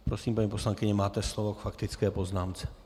Prosím, paní poslankyně, máte slovo k faktické poznámce.